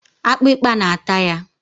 akpịkpa na-ata ya.